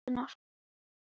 Bengta, viltu hoppa með mér?